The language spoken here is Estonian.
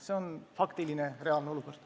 See on reaalne olukord.